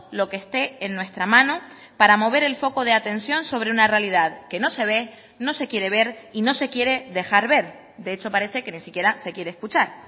lo que este en nuestra mano para mover el foco de atención sobre una realidad que no se ve no se quiere ver y no se quiere dejar ver de hecho parece que ni siquiera se quiere escuchar